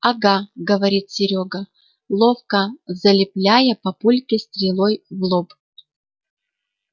угу говорит серёга ловко залепляя папульке стрелой в лоб